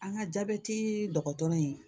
An ka jabɛti dɔgɔtɔrɔ in